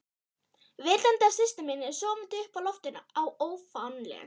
Vitandi af systur sinni sofandi uppi á loftinu í ofanálag?